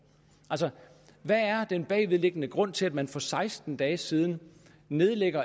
hvad er den bagvedliggende grund til at man for seksten dage siden nedlagde